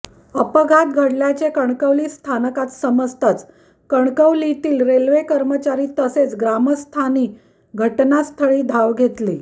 अपघात घडल्याचे कणकवली स्थानकात समजताच कणकवलीतील रेल्वे कर्मचारी तसेच ग्रामस्थांनी घटनास्थळी धाव घेतली